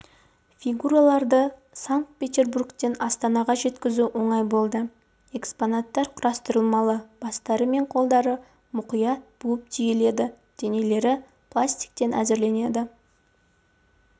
фигураларды санкт-петербургтен астанаға жеткізу оңай болды экспонаттар құрастырмалы бастары мен қолдары мұқият буып-түйіледі денелері пластиктен әзірленеді